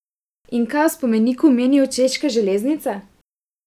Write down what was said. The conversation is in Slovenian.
In kaj o spomeniku menijo Češke železnice?